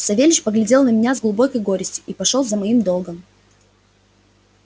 савельич поглядел на меня с глубокой горестью и пошёл за моим долгом